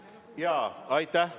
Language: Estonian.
Aitäh!